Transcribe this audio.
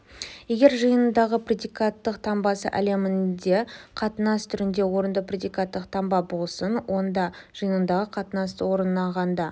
егер жиынындағы предикаттық таңбасы әлемінде қатынас түрінде орынды предикаттық таңба болсын онда жиынындағы қатынас орнағанда